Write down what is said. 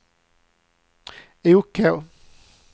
OK